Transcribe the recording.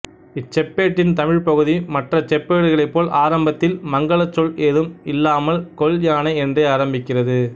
இச்செப்பேட்டின் தமிழ்ப்பகுதி மற்ற செப்பேடுகளைப்போல் ஆரம்பத்தில் மங்கலச் சொல் ஏதும் இல்லாமல் கொல் யானை என்றே ஆரம்பிக்கிறது